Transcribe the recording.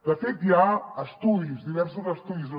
de fet hi ha estudis diversos estudis